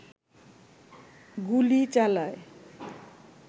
গুলি চালায়